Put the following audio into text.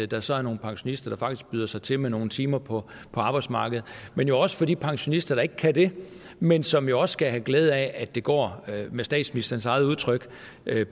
der så er nogle pensionister der faktisk byder sig til med nogle timer på arbejdsmarkedet men jo også for de pensionister der ikke kan det men som jo også skal have glæde af at det går med statsministerens eget udtryk